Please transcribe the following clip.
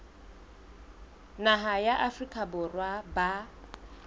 naha ya afrika borwa ba